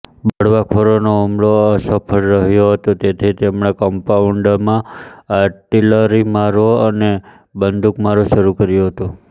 બળવાખોરોનો હુમલો અસફળ રહ્યો હતો તેથી તેમણે કમ્પાઉન્ડમાં આર્ટીલરીમારો અને બંદુકમારો શરૂ કર્યો હતો